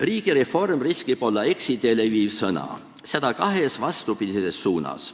"Riigireform" riskib olla eksiteele viiv sõna, seda kahes vastandlikus suunas.